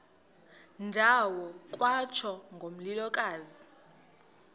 ndawo kwatsho ngomlilokazi